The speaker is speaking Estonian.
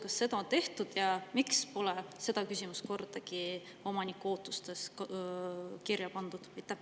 Kas seda on tehtud ja miks pole seda kordagi omaniku ootustes kirja pandud?